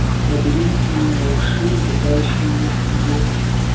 набери фильм малыши и летающие звери